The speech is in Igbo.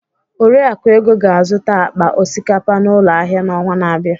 Oriakụ Ego ga-azụta akpa osikapa n'ụlọ ahịa n'ọnwa na-abịa.